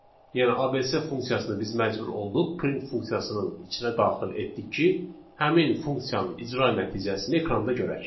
Yəni ABC funksiyasını biz məcbur olduq print funksiyasının içinə daxil etdik ki, həmin funksiyanın icra nəticəsini ekranda görək.